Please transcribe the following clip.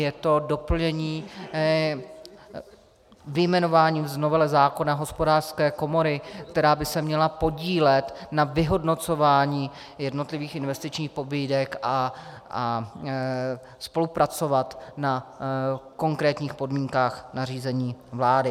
Je to doplnění vyjmenováním z novely zákona Hospodářské komory, která by se měla podílet na vyhodnocování jednotlivých investičních pobídek a spolupracovat na konkrétních podmínkách nařízení vlády.